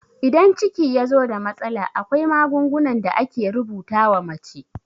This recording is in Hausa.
Idan ciki yazo da matsala, akwai magungunan da ake rubuta wa mace